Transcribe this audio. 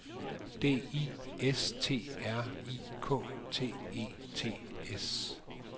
D I S T R I K T E T S